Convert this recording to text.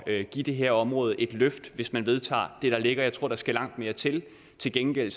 at give det her område et løft hvis man vedtager det der ligger jeg tror der skal langt mere til til gengæld